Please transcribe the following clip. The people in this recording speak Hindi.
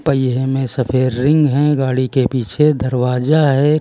ये हमें सफेद रिंग है गाड़ी के पीछे दरवाजा है।